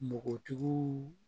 Npogotigiw